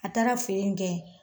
A taara feere in kɛ.